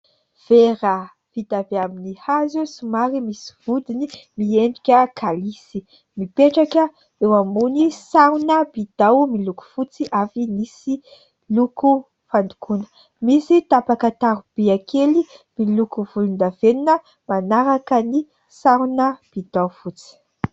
Vera vita avy amin'ny hazo somary misy vodiny miendrika kalisy, mipetraka eo ambony sarona "bidon" miloko fotsy avy nisy loko fandokoana, misy tapaka taromby kely miloko volondavenina manaraka ny sarona "bidon" fotsy.